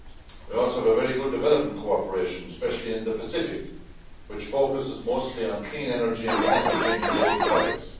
We also have very good development cooperation, especially in the Pacific, which focuses mostly on clean energy and climate change related projects.